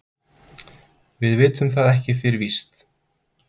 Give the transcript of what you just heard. Við vitum það ekki fyrir víst.